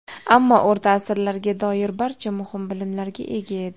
Ammo o‘rta asrlarga doir barcha muhim bilimlarga ega edi.